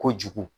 Kojugu